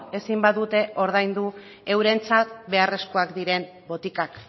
ezin badute ordaindu eurentzat beharrezkoak diren botikak